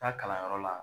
Taa kalanyɔrɔ la